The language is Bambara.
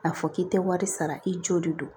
A fɔ k'i tɛ wari sara i jo de do